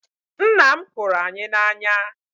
Ńnà m hụrụ anyị na anya.